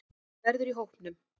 Hann verður í hópnum.